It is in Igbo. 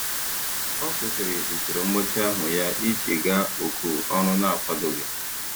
Ọ kwụsịrị usoro mgbatị ahụ ya iji gaa oku ọrụ na-akwadoghị.